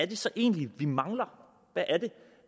det så egentlig er vi mangler